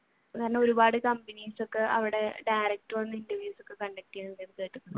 കാരണം ഒരുപാട് കമ്പനീസ് ഒക്കെ അവിടെ direct വന്നു interviews ഒക്കെ conduct